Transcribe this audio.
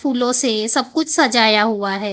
फूलों से सब कुछ सजाया हुआ है।